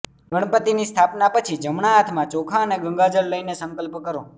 ગણપતિની સ્થાપના પછી જમણા હાથમાં ચોખા અને ગંગાજળ લઇને સંકલ્પ કરો